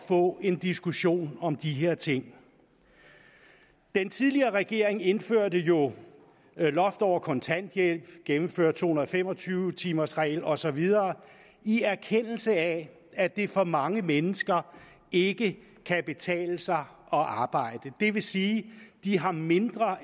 få en diskussion om de her ting den tidligere regering indførte jo loft over kontanthjælp gennemførte to hundrede og fem og tyve timers reglen og så videre i erkendelse af at det for mange mennesker ikke kan betale sig at arbejde det vil sige at de har mindre